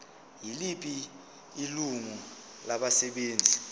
yiliphi ilungu labasebenzi